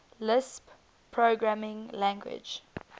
lisp programming language